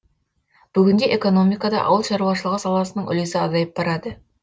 бүгінде экономикада ауыл шаруашылығы саласының үлесі азайып барады